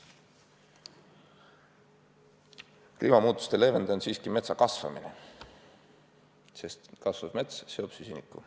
Kliimamuutuste leevendaja on siiski metsa kasvamine, sest kasvav mets seob süsinikku.